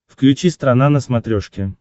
включи страна на смотрешке